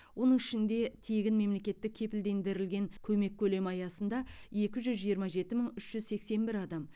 оның ішінде тегін мемлекеттік кепілдендірілген көмек көлемі аясында екі жүз жиырма жеті мың үш жүз сексен бір адам